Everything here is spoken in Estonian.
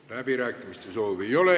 Läbirääkimiste soovi ei ole.